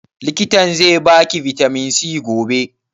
Likitan zai ba ki bitamin C gobe?